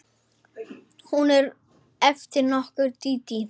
Hún er eftir okkur Dídí.